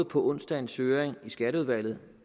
på onsdagens høring i skatteudvalget